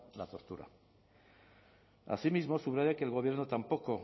la tortura asimismo subraya que el gobierno tampoco